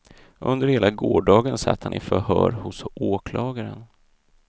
Under hela gårdagen satt han i förhör hos åklagaren.